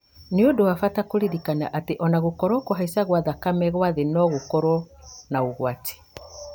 nĩ ũndũ wa bata kũririkana atĩ ona angĩkorwo kũhaica gwa thakame kwa thĩ no gũkorwo na ũgwati